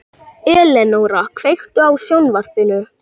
Elenóra, kveiktu á sjónvarpinu.